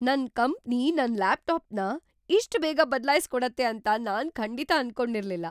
ನನ್ ಕಂಪನಿ ನನ್ ಲ್ಯಾಪ್‌ಟಾಪ್‌ನ ಇಷ್ಟ್ ಬೇಗ ಬದಲಾಯ್ಸ್‌ಕೊಡತ್ತೆ ಅಂತ ನಾನ್‌ ಖಂಡಿತ ಅನ್ಕೊಂಡಿರ್ಲಿಲ್ಲ.